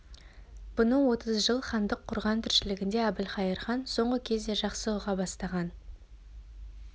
бұны отыз жыл хандық құрған тіршілігінде әбілқайыр хан соңғы кезде жақсы ұға бастаған